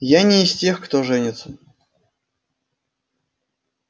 я не из тех кто женится